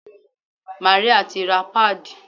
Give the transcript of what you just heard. Màríà ti ra páàdì.